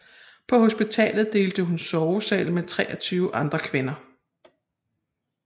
På hospitalet delte hun sovesal med 23 andre kvinder